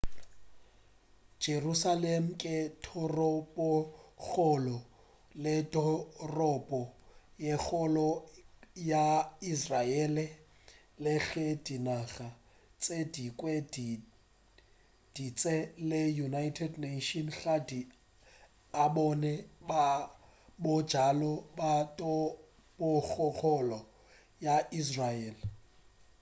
jerusalem ke toropokgolo le toropo ye kgolo ya israele le ge dinaga tše dingwe tše dintši le united nations ga di e bone bjalo ka toropokgolo ya israel